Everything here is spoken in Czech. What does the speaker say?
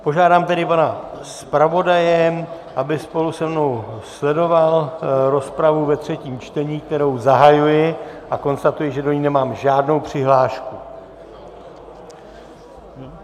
Požádám tedy pana zpravodaje, aby spolu se mnou sledoval rozpravu ve třetím čtení, kterou zahajuji, a konstatuji, že do ní nemám žádnou přihlášku.